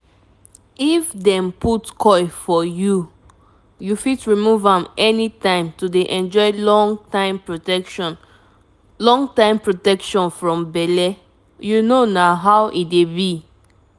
if dem put coil for youu fit remove am anytime to dey enjoy long-time protection long-time protection from belleyou know na how e dey bi